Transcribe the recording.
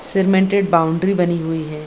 Cemented boundary बनी हुई है।